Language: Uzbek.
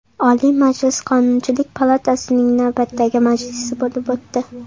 Oliy Majlis Qonunchilik palatasining navbatdagi majlisi bo‘lib o‘tdi.